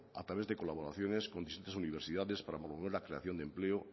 a través de colaboraciones con distintas universidades para promover la creación de empleo